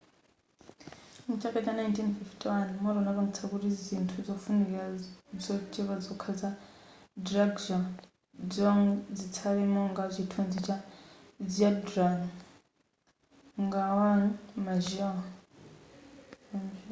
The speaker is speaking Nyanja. mchaka cha 1951 moto unapangitsa kuti zinthu zofunika zochepa zokha za drukgyal dzong zitsale monga chithunzi cha zhabdrung ngawang namgyal